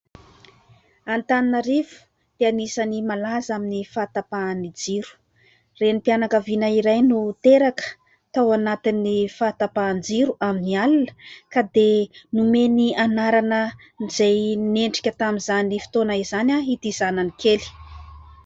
Antananarivo dia anisan'ny malaza amin'ny fahatapahan'ny jiro. Renim-pianakaviana iray no teraka tao anatin'ny fahatapahan-jiro amin'ny alina ka dia nomeny anarana izay mendrika tamin'izany fotoana izany ity zanany kely.